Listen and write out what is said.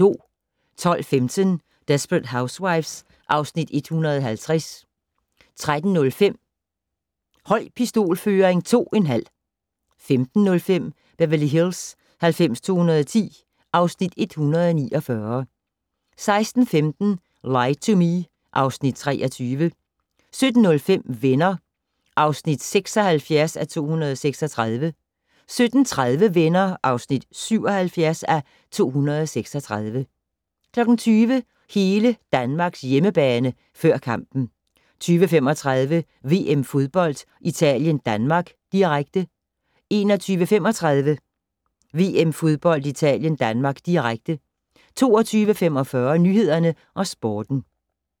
12:15: Desperate Housewives (Afs. 150) 13:05: Høj pistolføring 2 1/2 15:05: Beverly Hills 90210 (Afs. 149) 16:15: Lie to Me (Afs. 23) 17:05: Venner (76:236) 17:30: Venner (77:236) 20:00: Hele Danmarks hjemmebane - før kampen 20:35: VM-fodbold: Italien-Danmark, direkte 21:35: VM-fodbold: Italien-Danmark, direkte 22:45: Nyhederne og Sporten